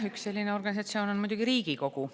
Üks selline organisatsioon on muidugi Riigikogu.